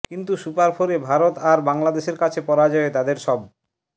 কিন্তু সুপার ফোরে ভারত আর বাংলাদেশের কাছে পরাজয়ে তাদের সব